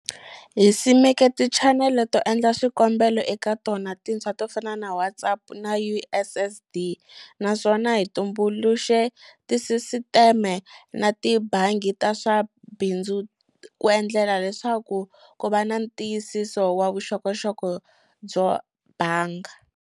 Hi simeke tichanele to endla swikombelo eka tona tintshwa to fana na WhatsApp na USSD, naswona hi tumbuluxe tisisiteme na tibangi ta swa bindzu ku endlela leswaku ku va na ntiyisiso wa vuxokoxoko byo banga.